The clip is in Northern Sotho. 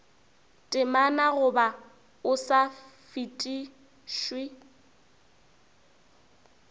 temana goba o sa fetišwe